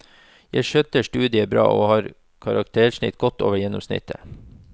Jeg skjøtter studiet bra og har et karaktersnitt godt over gjennomsnittet.